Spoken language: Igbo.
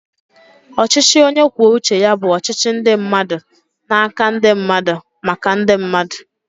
Ọchịchị onye kwuo uche ya bụ ọchịchị ndị mmadụ n'aka ndị mmadụ, maka ndị mmadụ